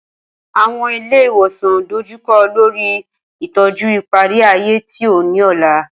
Awọn ile iwosan dojukọ lori itọju ipari-aye ti o ni ọla.